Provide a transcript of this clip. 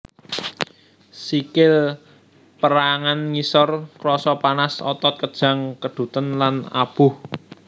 Sikil pérangan ngisor krasa panas otot kejang keduten lan aboh